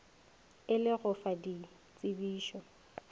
e le go fa ditsebišo